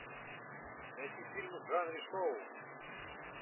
найти фильмы в жанре шоу